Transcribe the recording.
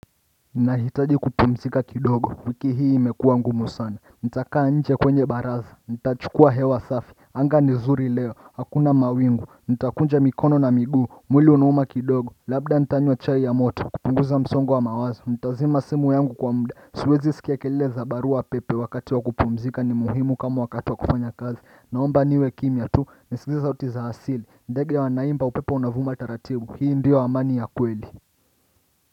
Ninahitaji kupumzika kidogo. Wiki hii imekuwa ngumu sana. Nitakaa nje kwenye baraza. Nitachukua hewa safi anga ni zuri leo. Hakuna mawingu. Nitakunja mikono na miguu. Mwili unauma kidogo. Labda nitanywa chai ya moto kupunguza msongo wa mawazo. Ntazima simu yangu kwa muda. Siwezi sikia kelele za barua pepe. Wakati wa kupumzika ni muhimu kama wakati wa kufanya kazi. Naomba niwe kimya tu, nisikie sauti za asili. Ndege wanaimba, upepo unavuma taratibu. Hii ndiyo amani ya kweli.